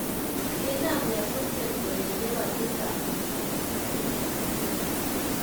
Kiinam nyasutiet koeche kotisap